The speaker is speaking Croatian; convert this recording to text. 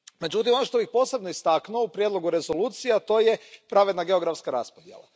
Međutim, ono što bih posebno istaknuo u Prijedlogu rezolucije, a to je pravedna geografska raspodjela.